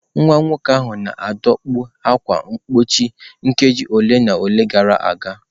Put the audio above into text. Nwa nwoke ahụ na-adọkpụ ákwà mgbochi nkeji ole na ole gara aga.